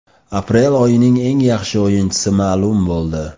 Aprel oyining eng yaxshi o‘yinchisi ma’lum bo‘ldi.